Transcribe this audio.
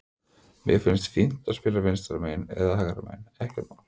Mér finnst fínt að spila vinstra megin eða hægra megin, ekkert mál.